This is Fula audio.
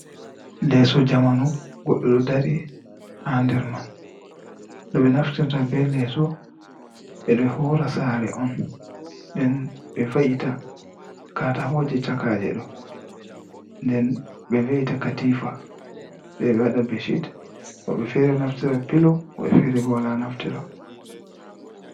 Leeso jamanu goɗɗo ɗo dari ha nder man be naftirta be leso bedo hora saare on nden be va’ita katakoje chakaje ɗo nden be ve’ita katifa se ɓe waɗa beshit woɓɓe ɗo naftira pilo woɓɓe fere bo wola naftira.